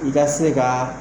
I ka se kaa